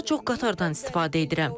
Daha çox qatardan istifadə edirəm.